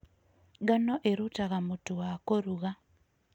Ngano ĩrutaga mũtu wa kũruga.